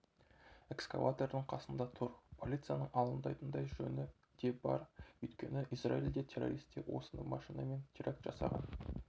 экскаватордың қасында тұр полицияның алаңдайтын жөні де бар өйткені израильде террористер осы машинамен терракт жасаған